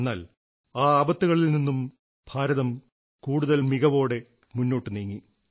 എന്നാൽ ആ ആപത്തുകളിൽ നിന്നും ഭാരതം കൂടുതൽ മികവോടെ മുന്നോട്ടു നീങ്ങി